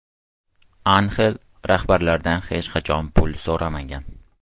Anxel rahbarlardan hech qachon pul so‘ramagan.